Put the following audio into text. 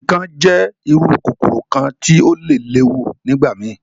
Ikán jẹ iru kokoro kan ti o le lewu nigbamii.